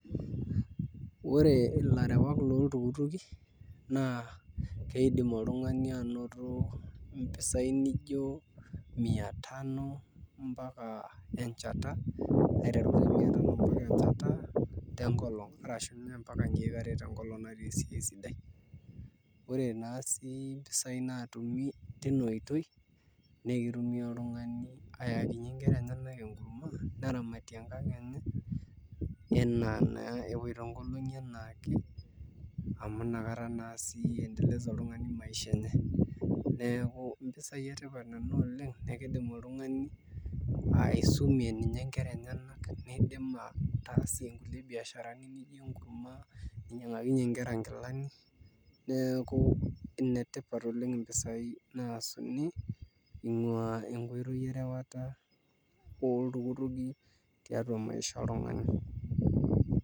Ore ilarewan looltukutuki naa iidim oltung'ani anoto mpisaai nijio mia tano mpaka enchata tenkolong' netum sii mpaka nkejek are tenkolong' natii esiai sidai ore naa sii mpisaai naatumi tina oitoi naa kitumia oltung'ani ayakinyie nkera enyenak enkurma neramatie enkang' enye enaa naa epoito nkolong'i enaa ake amu nakata naa sii iendeleza oltung'ani maisha enye neeku mpisaai etipat nena oleng' naa kiidim oltung'ani aisumie ninye nkera enyenak niidim ataasie nkulie biasharani nijio enkurma ninyiang'akinyie nkera nkilani neeku enetipat oleng' mpisaai naasuni ingua enkoitoi erewata oltukutuki tiatua maisha oltung'ani.